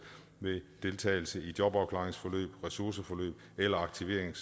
ved deltagelse i jobafklaringsforløb ressourceforløb eller